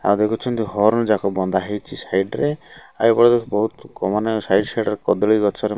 ଆଉ ଦେଖୁଛନ୍ତି ହର୍ଣ ଯାକ ବନ୍ଧା ହେଇଚି ସାଇଡ ରେ ଆଉ ଏପଟେ ଦେଖ ବୋହୁତ କ ମାନେ ସାଇଡ ସାଇଡ ରେ କଦଳୀ ଗଛରେ --